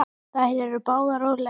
Þær eru báðar úr leik.